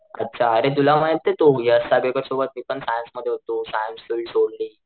अच्छा तुला माहितेय तो यश सोबत मी पण सायन्स मध्ये होतो सायन्स फिल्ड सोडली,